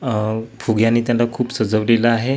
अ फुग्यांनी त्यांना खूप सजवलेलं आहे.